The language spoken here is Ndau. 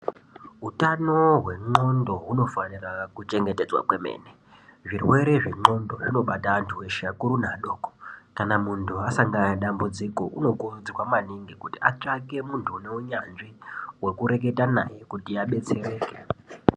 Utano hwendxondo hunofanira kuchengetedzwa kwemene, zvirwere zvendxondo zvinobata antu eshe akuru neadoko kana muntu asangana nedambudziko unokurudzirwa maningi kuti atsvake muntu une unyanzvi wekureketa naye kuti adetsereke.